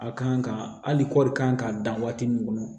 A kan ka hali kɔɔri ka kan ka dan waati min kɔnɔ